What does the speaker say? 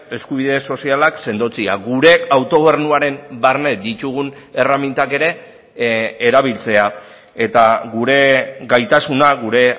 eskubide sozialak sendotzea gure autogobernuaren barne ditugun erremintak ere erabiltzea eta gure gaitasuna gure